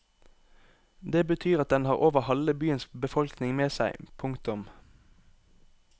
Det betyr at den har over halve byens befolkning med seg. punktum